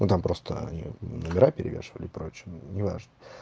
ну там просто они вот номера перевешивали и прочее неважно